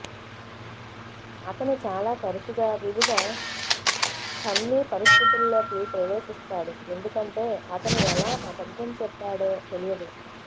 అతను చాలా తరచుగా వివిధ ఫన్నీ పరిస్థితుల్లోకి ప్రవేశిస్తాడు ఎందుకంటే అతను ఎలా అబద్ధం చెప్పాడో తెలియదు